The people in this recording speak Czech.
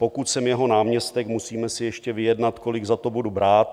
Pokud jsem jeho náměstek, musíme si ještě vyjednat, kolik za to budu brát.